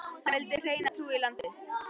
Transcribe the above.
Hann vildi hreina trú í landið.